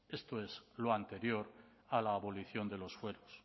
esto es lo anterior a la abolición de los fueros